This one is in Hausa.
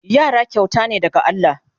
Yara kyauta ne daga Allah